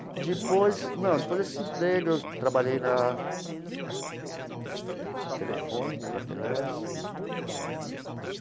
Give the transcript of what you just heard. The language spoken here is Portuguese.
Depois não depois desse emprego, eu trabalhei na Telefônica, na Telesp.